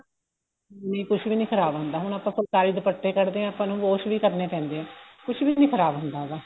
ਨਹੀਂ ਕੁੱਝ ਵੀ ਨੀ ਖਰਾਬ ਹੁੰਦਾ ਹੁਣ ਆਪਾਂ ਫੁਲਕਾਰੀ ਦੁਪੱਟੇ ਕੱਢਦੇ ਆ ਆਪਾਂ ਨੂੰ wash ਵੀ ਕਰਨੇ ਪੈਂਦੇ ਏ ਕੁੱਝ ਵੀ ਨਹੀਂ ਖਰਾਬ ਹੁੰਦਾ ਉਹਦਾ